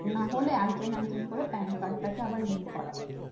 নাহলে একজন একজন করে PANcard তাকে link করবে